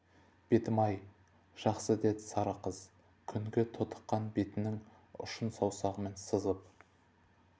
бетім-ай жақсы дед сары қыз күнге тотыққан бетінің ұшын саусағымен сызып